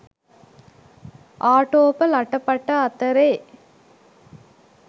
ආටෝප ලට පට අතරේ